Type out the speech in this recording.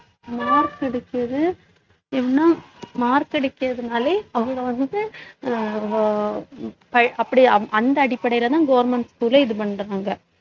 marks ஏன்னா mark எடுக்கிறதுனாலே அவங்க வந்து அஹ் அப்படி அந்த அடிப்படையிலதான் government school ல இது பண்றாங்க